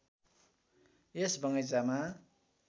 यस बगैंचामा